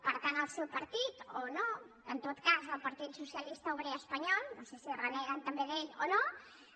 per tant el seu partit o no en tot cas el partit socialista obrer espanyol no sé si reneguen també d’ell o no